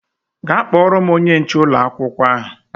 Gaa kpọọrọ m onye nche ụlọ akwụkwọ ahụ!